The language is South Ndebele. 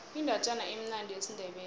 indatjana emnandi yesindebele